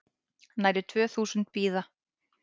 Nærri tvö þúsund bíða